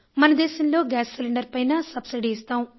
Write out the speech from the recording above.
మన దేశంలో gas cylinder పైన సబ్సిడీ ఇస్తాం